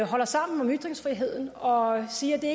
holder sammen om ytringsfriheden og siger at det